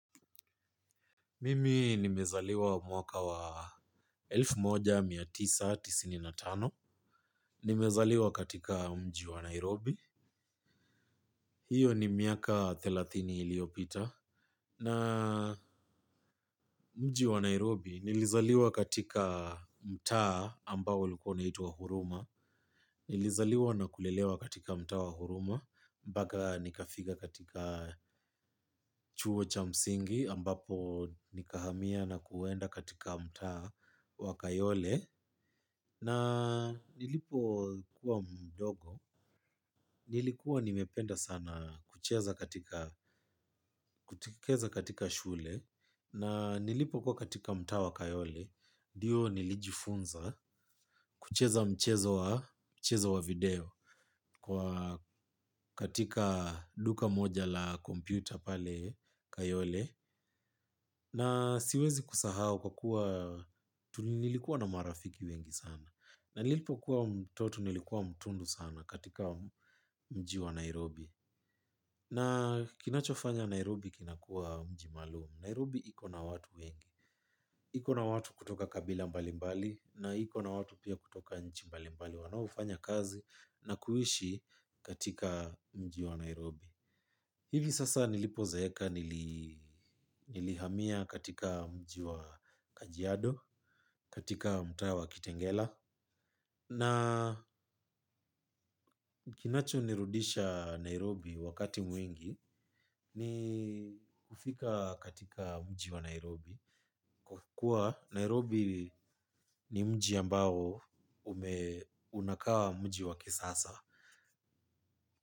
Mimi nimezaliwa mwaka wa elfu moja na mia tisa na tisini na tano. Nimezaliwa katika mji wa Nairobi, hiyo ni miaka thelathini iliyopita. Na mji wa Nairobi nilizaliwa katika mtaa ambao ulikuwa unaitwa Huruma, nilizaliwa na kulelewa katika mtaa wa Huruma, mbaka nikafiga katika chuo cha msingi ambapo nikahamia na kuenda katika mtaa wa Kayole. Na nilipokuwa mdogo. Nilikuwa nimependa sana kucheza katika shule. Na nilipokuwa katika mtaa wa kayole ndio nilijifunza, kucheza mchezo wa, mchezo wa video kwa katika duka moja la computer pale Kayole. Na siwezi kusahau kwa kuwa tuli nilikuwa na marafiki wengi sana. Na nilipokuwa mtoto nilikuwa mtundu sana katika mji wa Nairobi. N akinachofanya Nairobi kinakuwa mji maalum, Nairobi iko na watu wengi. Iko na watu kutoka kabila mbali mbali, na iko na watu pia kutoka nchi mbali mbali wanaofanya kazi na kuishi katika mji wa Nairobi. Hivi sasa nilipozeeka nili nilihamia katika mji wa kajiado, katika mtaa wa kitengela. Na kinachonirudisha Nairobi wakati mwingi ni kufika katika mji wa Nairobi. Kwa kuwa Nairobi ni mji ambao ume unakaa mji wa kisasa.